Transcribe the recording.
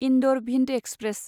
Indore Bhind express